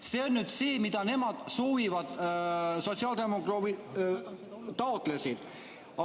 " See on nüüd see, mida nemad soovisid, st mida sotsiaaldemokraadid taotlesid.